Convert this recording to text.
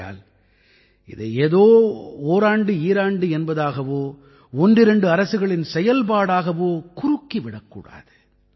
ஆகையால் இதை ஏதோ ஓராண்டுஈராண்டு என்பதாகவோ ஒன்றிரண்டு அரசுகளின் செயல்பாடாகாவோ குறுக்கி விடக்கூடாது